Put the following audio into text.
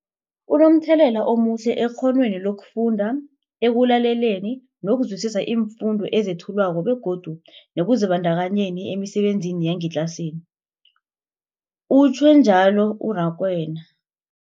Kunomthelela omuhle ekghonweni lokufunda, ekulaleleni nokuzwisiswa iimfundo ezethulwako begodu nekuzibandakanyeni emisebenzini yangetlasini, utjhwe njalo u-Rakwena.